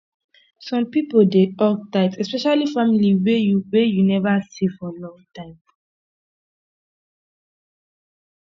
some pipo dey hug tight especially family wey you wey you neva see for long time